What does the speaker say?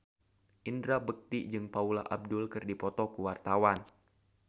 Indra Bekti jeung Paula Abdul keur dipoto ku wartawan